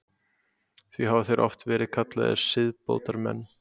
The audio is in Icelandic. Því hafa þeir oft verið kallaðir siðbótarmenn.